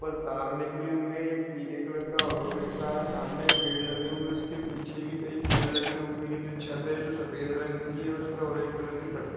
तार निकले हुए है। पीले कलर का ऑटो रिक्षा है। सामने पेड़ लगे हुए है। उसके पीछे भी कही पेड़ लगे हुए है। छत है। जो सफ़ेद रग की है। और उसपे ऑरेंज कलर की पट्टी--